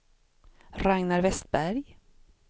Ragnar Vestberg